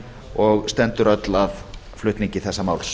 og stendur öll að flutningi þessa máls